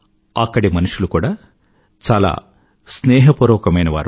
అక్కడి మనుషులు కూడా చాలా స్నేహపూర్వకమైనవారు